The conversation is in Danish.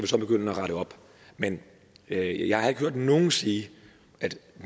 så begynde at rette op men jeg jeg har ikke hørt nogen sige at